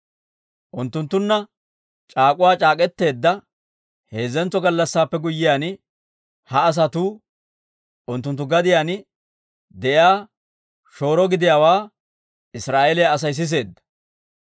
Unttunttunna c'aak'uwa c'aak'k'eteedda heezzentso gallassaappe guyyiyaan, ha asatuu unttunttu gadiyaan de'iyaa shooro gidiyaawaa Israa'eeliyaa Asay siseedda.